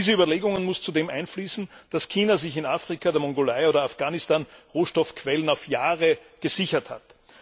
In diese Überlegungen muss zudem einfließen, dass China sich in Afrika, der Mongolei oder Afghanistan Rohstoffquellen auf Jahre gesichert hat.